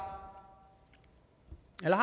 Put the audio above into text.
eller